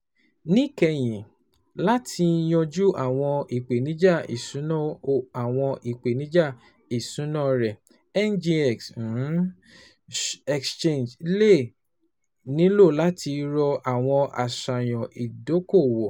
Níkẹyìn, láti yanjú àwọn ìpèníjà iṣuna àwọn ìpèníjà iṣuna rẹ, NGX Exchange le nilo lati ro awọn aṣayan idoko-owo